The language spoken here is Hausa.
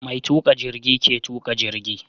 Mai tuƙa jirgi ke tuƙa jigi.